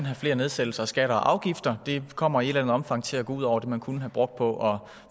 have flere nedsættelser af skatter og afgifter det kommer i et eller andet omfang til at gå ud over det man kunne have brugt på at